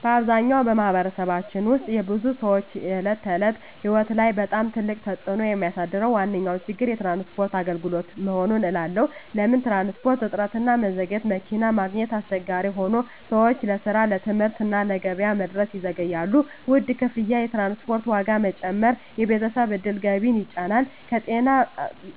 በአብዛኛው በማኅበረሰባችን ውስጥ የብዙ ሰዎች የዕለት ተዕለት ሕይወት ላይ በጣም ትልቅ ተፅዕኖ የሚያሳድረው ዋነኛ ችግር የትራንስፖርት አገልግሎት መሆኑን እባላለሁ። ለምን ትራንስፖርት? እጥረትና መዘግየት መኪና ማግኘት አስቸጋሪ ሆኖ ሰዎች ለስራ፣ ለትምህርት እና ለገበያ መድረስ ይዘገያሉ። ውድ ክፍያ የትራንስፖርት ዋጋ መጨመር የቤተሰብ ዕድል ገቢን ይጫን። ከጤና